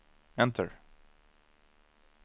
enter